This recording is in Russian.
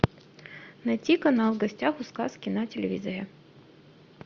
найти канал в гостях у сказки на телевизоре